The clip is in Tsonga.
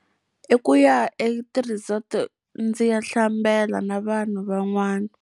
I ku ya eti-resort-o ndzi ya hlambela na vanhu van'wana.